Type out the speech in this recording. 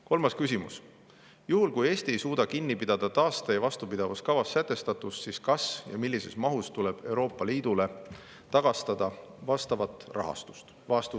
Kolmas küsimus: "Juhul kui Eesti ei suuda kinni pidada taaste- ja vastupidavuskavas sätestatust, siis kas ja millises mahus tuleb Euroopa Liidule tagastada vastavat rahastust?